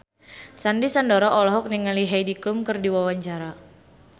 Sandy Sandoro olohok ningali Heidi Klum keur diwawancara